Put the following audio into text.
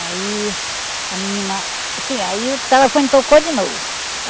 Aí, a menina... Sim, aí o telefone tocou de novo.